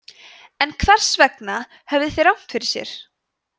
en hvers vegna höfðu þeir rangt fyrir sér